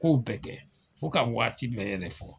K'o bɛɛ tɛ ,fo ka waati bɛɛ yɛrɛ fɔ.